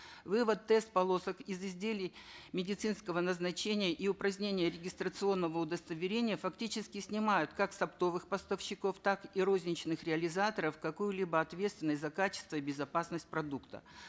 вывод тест полосок из изделий медицинского назначения и упразднение регистрационного удостоверения фактически снимает как с оптовых поставщиков так и розничных реализаторов какую либо ответственность за качество и безопасность продукта